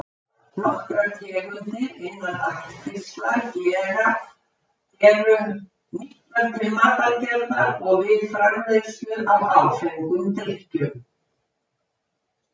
Nokkrar tegundir innan ættkvíslar gera eru nýttar til matargerðar og við framleiðslu á áfengum drykkjum.